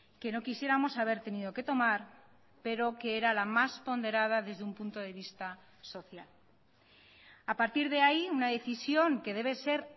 que no quisiéramos haber tenido que tomar pero que era la más ponderada desde un punto de vista social a partir de ahí una decisión que debe ser